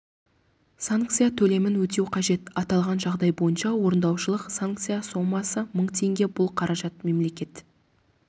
санкция төлемін өтеу қажет аталған жағдай бойынша орындаушылық санкция сомасы мың теңге бұл қаражат мемлекет